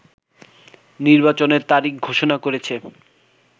নির্বাচনের তারিখ ঘোষণা করেছে